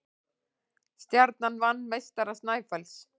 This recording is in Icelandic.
Stjarnan vann meistara Snæfells